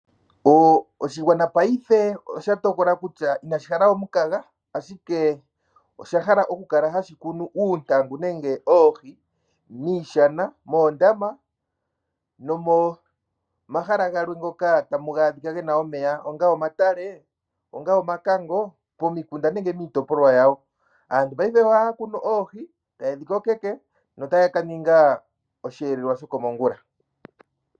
Oshigwana paife osha tokola kutya inashi hala we omukaga. Paife osha hala okukala hashi kunu uuntangu nenge oohi miishana, moondama nomomahala galwe moka tamu adhika mu na omeya ngaashi momatale, omakango momikunda nenge miitopolwa yawo. Aantu paife ohaya kunu oohi e dhi kokeke notaya ka ninga osheelelwa shokomongula.